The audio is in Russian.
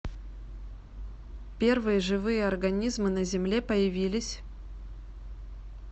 первые живые организмы на земле появились